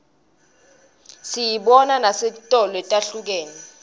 siyibona nesetitolo letihlukene